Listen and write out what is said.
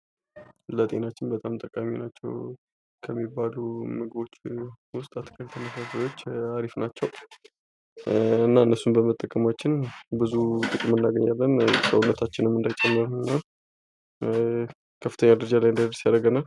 ለጤናችን በጣም ጠቃሚ ናቸው ከሚባሉ ምግቦች ውስጥ አትክልትና ፍራፍሬዎች አሪፍ ናቸው። እና እነሱን በመጠቀማችን ብዙ ጥቅም እናገኛለን። ሰውነታችን እንዳይጨምር እና ከፍተኛ ደረጃ ላይ እንዳይደርስ ያደርገናል።